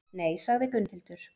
Nei, sagði Gunnhildur.